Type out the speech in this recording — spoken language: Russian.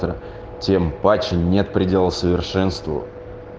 тем паче нет предела совершенству